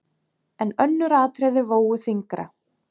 En önnur atriði vógu þyngra.